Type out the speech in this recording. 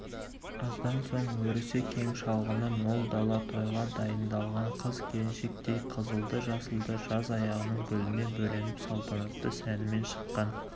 аздан соң өрісі кең шалғыны мол дала тойға дайындалған қыз-келіншектей қызылды-жасылды жаз аяғының гүліне бөленіп салтанатты сәнімен шыққан